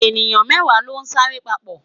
eniyan mẹwa lon sa re papo